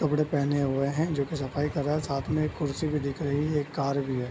कपड़े पहने हुए हैं जो की सफाई कर रहा है साथ में एक कुर्सी भी दिख रही है एक कार भी है।